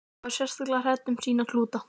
Magga var sérstaklega hrædd um sína klúta.